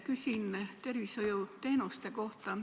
Küsin tervishoiuteenuste kohta.